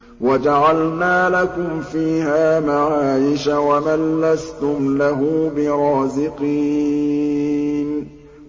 وَجَعَلْنَا لَكُمْ فِيهَا مَعَايِشَ وَمَن لَّسْتُمْ لَهُ بِرَازِقِينَ